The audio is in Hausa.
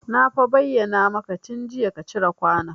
Na fa bayyana maka tun jiya ka cire kwanon